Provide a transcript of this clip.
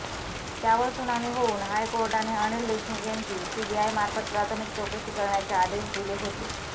त्यावर सुनावणी होवून हायकोर्टाने अनिल देशमुख यांची सीबीआय मार्फत प्राथमिक चौकशी करण्याचे आदेश दिले होते